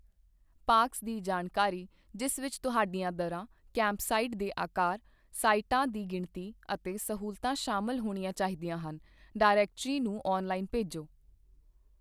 Parks ਦੀ ਜਾਣਕਾਰੀ, ਜਿਸ ਵਿੱਚ ਤੁਹਾਡੀਆਂ ਦਰਾਂ, ਕੈਂਪਸਾਈਟ ਦੇ ਅਕਾਰ, ਸਾਈਟਾਂ ਦੀ ਗਿਣਤੀ ਅਤੇ ਸਹੂਲਤਾਂ ਸ਼ਾਮਲ ਹੋਣੀਆਂ ਚਾਹੀਦੀਆਂ ਹਨ, ਡਾਇਰੈਕਟਰੀ ਨੂੰ ਆਨਲਾਈਨ ਭੇਜੋ।